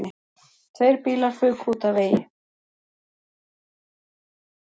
Tveir bílar fuku út af vegi